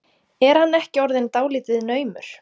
Er hann ekki orðinn dálítið naumur?